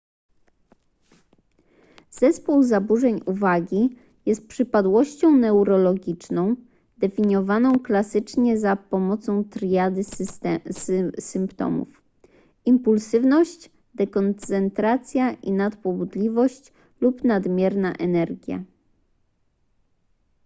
zespół zaburzeń uwagi jest przypadłością neurologiczną definiowaną klasycznie za pomocą triady symptomów impulsywność dekoncentracja i nadpobudliwość lub nadmierna energia